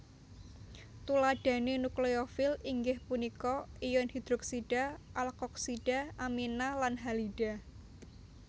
Tuladhane nukleofil inggih punika ion hidroksida alkoksida amina lan halida